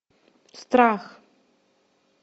страх